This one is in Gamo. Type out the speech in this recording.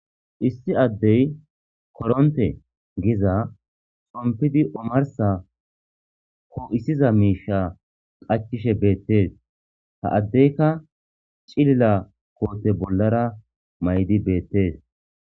issi addey koronte giiza xompidi omarssa po'isiiza miishsha qacishshe beettees ha addeykka ciliila koote bollara may'di beettees